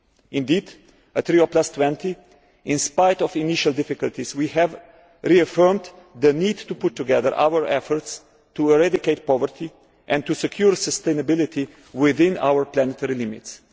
Indeed, at Rio20, in spite of initial difficulties we have reaffirmed the need to put together our efforts to eradicate poverty and to secure sustainability within our planetary limits.